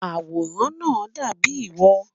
Awòràn naa dàbíi wọ̀.